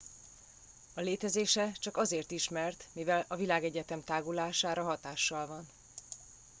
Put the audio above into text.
a létezése csak azért ismert mivel a világegyetem tágulására hatással van